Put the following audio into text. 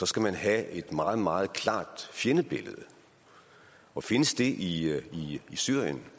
skal man have et meget meget klart fjendebillede og findes det i syrien